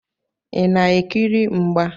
Ị na-ekiri mgba?